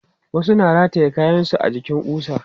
Wasu na rataye kayansu a jikin ƙusa.